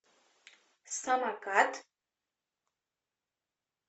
самокат